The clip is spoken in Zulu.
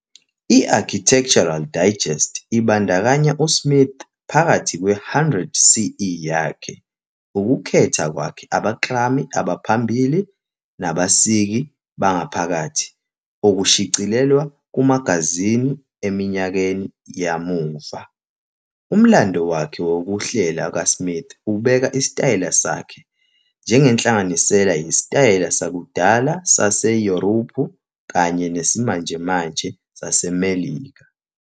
I-Architectural Digest ibandakanya uSmith phakathi kwe- "100 CE" yakhe, "ukukhetha kwakhe abaklami abaphambili nabasiki bengaphakathi" okushicilelwe kumagazini eminyakeni yamuva. "Umlando" wakhe wokuhlela kaSmith ubeka isitayela sakhe "njengenhlanganisela yesitayela sakudala saseYurophu kanye nesimanjemanje saseMelika".